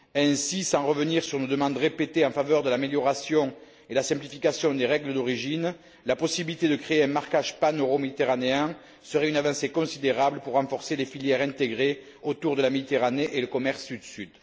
Ainsi, sans revenir sur une demande répétée en faveur de l'amélioration et de la simplification des règles d'origine, la possibilité de créer un marquage paneuroméditerranéen serait une avancée considérable pour renforcer les filières intégrées autour de la Méditerranée et le commerce Sud Sud.